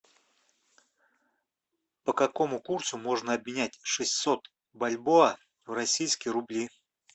по какому курсу можно обменять шестьсот бальбоа в российские рубли